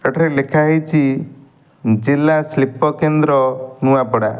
ଏଠାରେ ଲେଖା ହେଇଛି ଜିଲ୍ଲା ଶିଳ୍ପ କେନ୍ଦ୍ର ନୂଆପଡ଼ା।